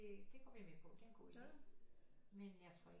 Det går vi med på det er en god idé men jeg tror ikke